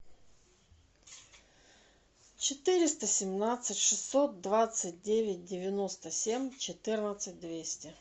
четыреста семнадцать шестьсот двадцать девять девяносто семь четырнадцать двести